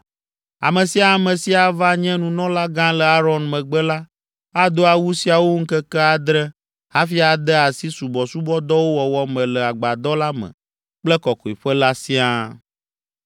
Ame sia ame si ava nye nunɔlagã le Aron megbe la ado awu siawo ŋkeke adre hafi ade asi subɔsubɔdɔwo wɔwɔ me le agbadɔ la me kple Kɔkɔeƒe la siaa.